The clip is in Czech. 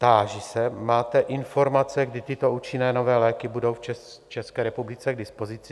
Táži se: Máte informace, kdy tyto účinné nové léky budou v České republice k dispozici?